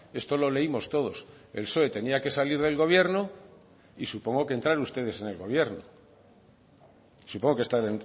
esto lo leímos todos el psoe tenía que salir del gobierno y supongo que entrar ustedes en el gobierno supongo que están